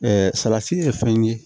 salati ye fɛn ye